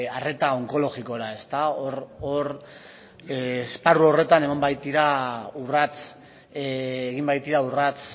arreta onkologikora esparru horretan egin baitira urrats